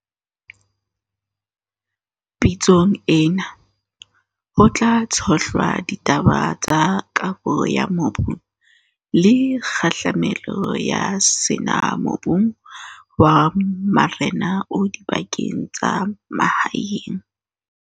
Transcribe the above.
Pitsong ena, ho tla tshohlwa ditaba tsa kabo ya mobu le kgahlamelo ya sena mobung wa marena o dibakeng tsa mahaeng.